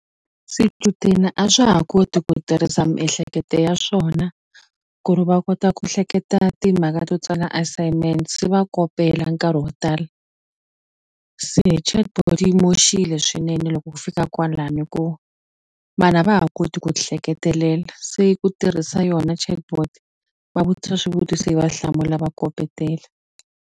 Swichudeni a swa ha koti ku tirhisa miehleketo ya swona ku ri va kota ku hleketa timhaka to tsala assignment se va kopela nkarhi wo tala se chatbot yi moxile swinene loko ku fika kwalani hi ku vanhu a va ha koti ku ti hleketelela se ku tirhisa yona chatbot va vutisa swivutiso yi va hlamula va kopetela.